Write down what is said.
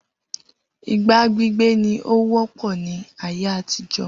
Igbá gbígbé ní ó wọ́pọ̀ ní ayé àtijó